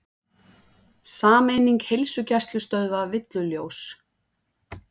Sameining heilsugæslustöðva villuljós